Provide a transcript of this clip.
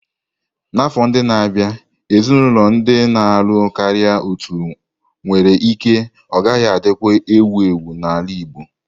N'afọ ndị na-abịa, ezinaụlọ ndị na-alụ karịa otu nwere ike ọ gaghị adịkwa ewu ewu n'ala Igbo.